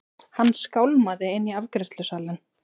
Hann skálmaði inn í afgreiðslusalinn.